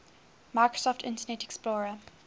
microsoft internet explorer